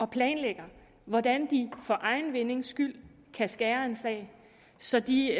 planlægger hvordan de for egen vindings skyld kan skære en sag så de